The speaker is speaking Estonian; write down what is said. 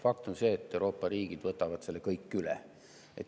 Fakt on see, et kõik Euroopa riigid võtavad selle üle.